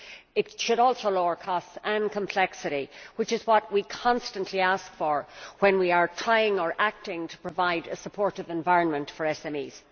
It should also lower costs and reduce complexity, which is what we constantly ask for when we are trying or acting to provide a supportive environment for SMEs.